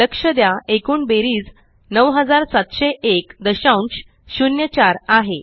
लक्ष द्या एकूण बेरीज 970104 आहे